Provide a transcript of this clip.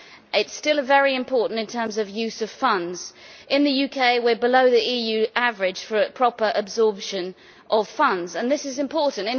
It is still very important in terms of use of funds. In the UK we are below the EU average for a proper absorption of funds, and this is important.